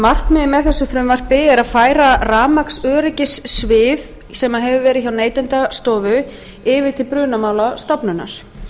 markmiðið með þessu frumvarpi er að færa rafmagnsöryggissvið sem hefur verið hjá neytendastofu yfir til brunamálastofnunar